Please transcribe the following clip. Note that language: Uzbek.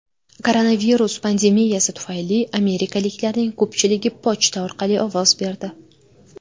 Koronavirus pandemiyasi tufayli amerikaliklarning ko‘pchiligi pochta orqali ovoz berdi.